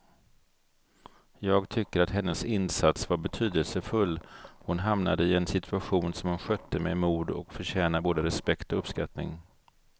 Jag tycker att hennes insats var betydelsefull, hon hamnade i en situation som hon skötte med mod och förtjänar både respekt och uppskattning.